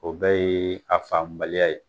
O bɛɛ ye a faamubaliya ye.